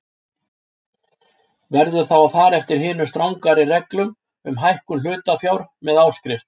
Verður þá að fara eftir hinum strangari reglum um hækkun hlutafjár með áskrift.